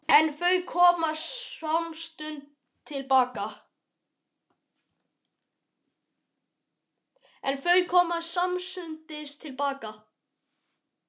En þau koma samstundis til baka.